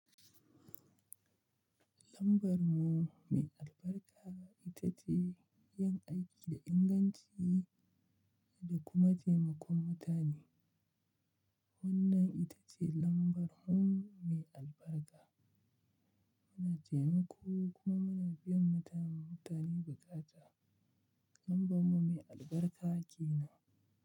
Lambar mu mai albarka ita ce yin aiki da inganci da kuma taimakon mutane. Wannan ita ce lambar mu mai albarka. Muna taimako kuma muna biyan mutane buƙatu. Lambar mu mai albarka ke nan.